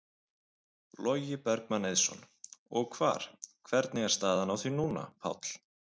Logi Bergmann Eiðsson: Og hvar, hvernig er staðan á því núna, Páll?